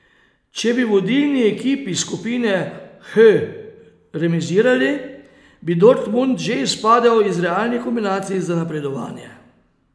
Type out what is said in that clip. Če bi vodilni ekipi skupine H remizirali, bi Dortmund že izpadel iz realnih kombinacij za napredovanje.